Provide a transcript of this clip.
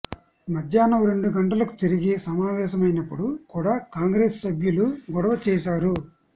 మధ్యాహ్నం రెండు గంటలకు తిరిగి సమావేశమైనప్పుడు కూడా కాంగ్రెస్ సభ్యులు గొడవ చేశారు